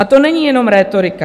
A to není jenom rétorika.